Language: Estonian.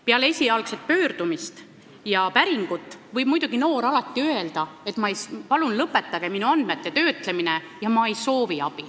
Peale esialgset pöördumist ja päringut võib noor inimene alati öelda, et palun lõpetage minu andmete töötlemine, ma ei soovi abi.